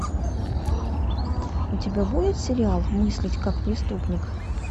у тебя будет сериал мыслить как преступник